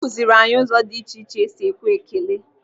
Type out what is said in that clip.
Akụziiri anyị ụzọ dị iche iche esi ekwe ekele.